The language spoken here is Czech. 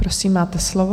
Prosím, máte slovo.